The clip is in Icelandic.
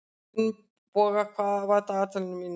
Finnboga, hvað er á dagatalinu mínu í dag?